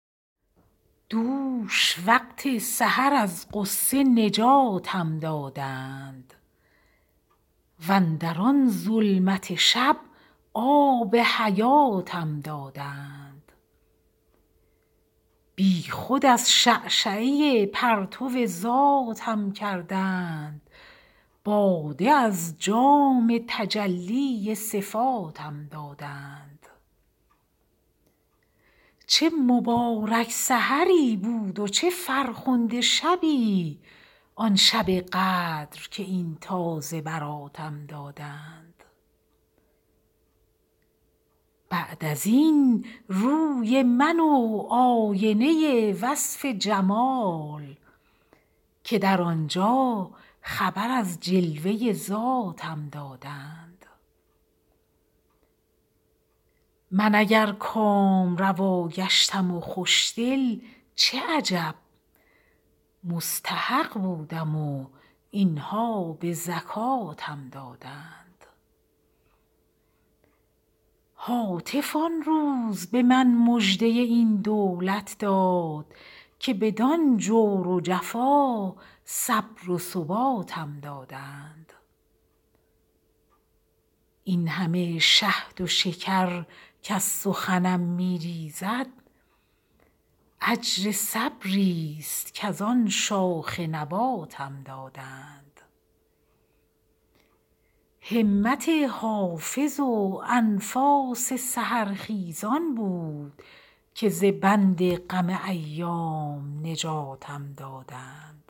دوش وقت سحر از غصه نجاتم دادند واندر آن ظلمت شب آب حیاتم دادند بی خود از شعشعه پرتو ذاتم کردند باده از جام تجلی صفاتم دادند چه مبارک سحری بود و چه فرخنده شبی آن شب قدر که این تازه براتم دادند بعد از این روی من و آینه وصف جمال که در آن جا خبر از جلوه ذاتم دادند من اگر کامروا گشتم و خوش دل چه عجب مستحق بودم و این ها به زکاتم دادند هاتف آن روز به من مژده این دولت داد که بدان جور و جفا صبر و ثباتم دادند این همه شهد و شکر کز سخنم می ریزد اجر صبری ست کز آن شاخ نباتم دادند همت حافظ و انفاس سحرخیزان بود که ز بند غم ایام نجاتم دادند